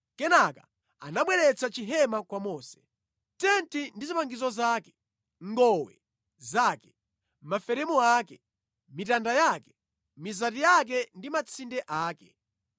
Kenaka anabweretsa chihema kwa Mose. Tenti ndi zipangizo zake, ngowe zake, maferemu ake, mitanda yake, mizati yake ndi matsinde ake;